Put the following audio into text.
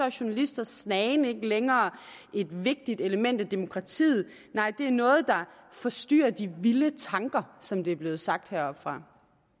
journalisters snagen ikke længere et vigtigt element i demokratiet nej det er noget der forstyrrer de vilde tanker som det er blevet sagt heroppefra